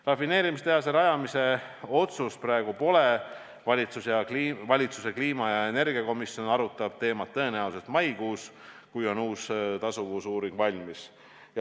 Rafineerimistehase rajamise otsust praegu pole, valitsuse kliima- ja energiakomisjon arutab teemat tõenäoliselt maikuus, kui on valminud uus tasuvusuuring.